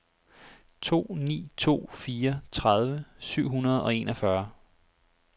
to ni to fire tredive syv hundrede og enogfyrre